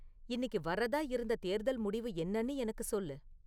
இன்னிக்கு வர்றதா இருந்த தேர்தல் முடிவு என்னனு எனக்கு சொல்லு